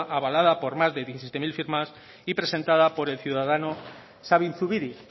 avalada por más de diecisiete mil firmas y presentada por el ciudadano sabin zubiri